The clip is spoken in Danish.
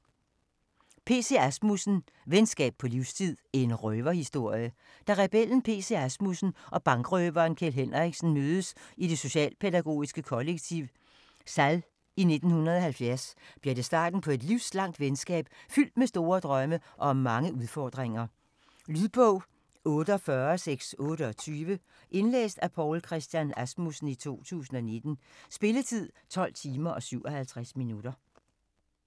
Asmussen, P. C.: Venskab på livstid: en røverhistorie Da rebellen P.C. Asmussen og bankrøveren Kjeld Henriksen mødes i det socialpædagogiske kollektiv Sall i 1970 bliver det starten på et livslangt venskab fyldt med store drømme og mange udfordringer. Lydbog 48628 Indlæst af Poul Christian Asmussen, 2019. Spilletid: 12 timer, 57 minutter.